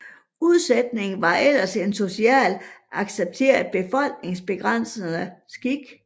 Udsætning var ellers en socialt accepteret befolkningsbegrænsende skik